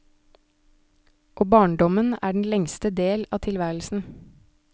Og barndommen er den lengste del av tilværelsen.